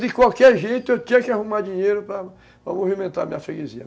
De qualquer jeito, eu tinha que arrumar dinheiro para para movimentar a minha freguesia.